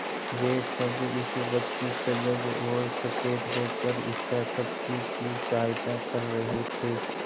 वे सब इस वक्त सजग और सचेत होकर इच्छाशक्ति की सहायता कर रहे थे